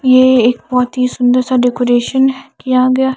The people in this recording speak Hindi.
ये एक बोहोत ही सुन्दर सा डेकोरेशन किया गया ।